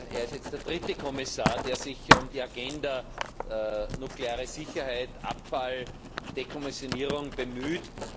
Er ist jetzt der dritte Kommissar, der sich um die Agenda nukleare Sicherheit, Abfall, Dekommissionierung bemüht.